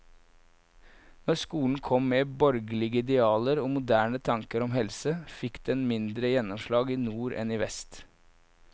Når skolen kom med borgerlige idealer og moderne tanker om helse, fikk den mindre gjennomslag i nord enn i vest.